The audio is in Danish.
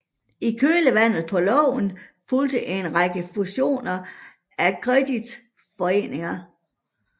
I kølvandet på loven fulgte en række fusioner af kreditforeninger